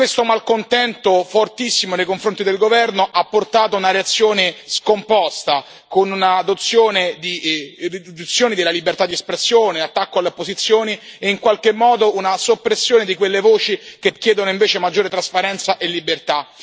Tale malcontento fortissimo nei confronti del governo ha portato a una reazione scomposta, con una riduzione della libertà di espressione, l'attacco alle opposizioni e, in qualche modo, una soppressione di quelle voci che chiedono invece maggiore trasparenza e libertà.